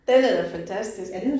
Den er da fantastisk